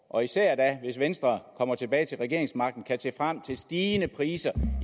og især da hvis venstre kommer tilbage til regeringsmagten kan se frem til stigende priser